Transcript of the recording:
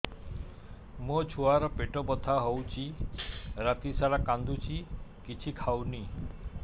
ମୋ ଛୁଆ ର ପେଟ ବଥା ହଉଚି ରାତିସାରା କାନ୍ଦୁଚି କିଛି ଖାଉନି